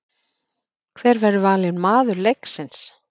Hver verður valinn maður leiksins?